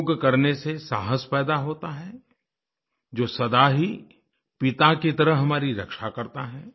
योग करने से साहस पैदा होता है जो सदा ही पिता की तरह हमारी रक्षा करता है